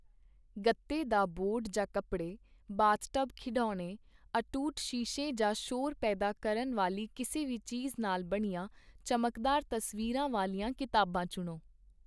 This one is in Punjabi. ਗੱਤੇ ਦਾ ਬੋਰਡ ਜਾਂ ਕੱਪੜੇ, ਬਾਥਟਬ ਖਿਡੌਣੇ, ਅਟੁੱਟ ਸ਼ੀਸ਼ੇ ਜਾਂ ਸ਼ੋਰ ਪੈਦਾ ਕਰਨ ਵਾਲੀ ਕਿਸੇ ਵੀ ਚੀਜ਼ ਨਾਲ ਬਣੀਆਂ ਚਮਕਦਾਰ ਤਸਵੀਰਾਂ ਵਾਲੀਆਂ ਕਿਤਾਬਾਂ ਚੁਣੋ।